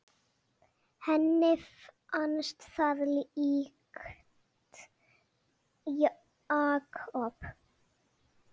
Henni fannst það líkt Jakob.